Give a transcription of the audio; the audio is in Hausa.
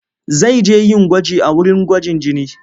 Zai je yin gwaji a wurin gwajin jini.